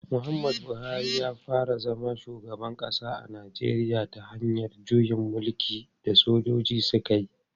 Muhammadu Buhari ya fara zama shugaban kasa a Najeriya ta hanyar juyin mulkin da sojoji suka yi.